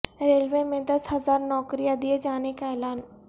railway میں دس ہزار نوکریاں دیے جانے کا اعلان